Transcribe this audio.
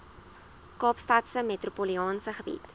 kaapstadse metropolitaanse gebied